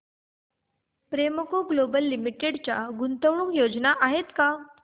Premco global limited च्या गुंतवणूक योजना आहेत का